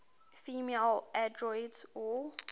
female androids or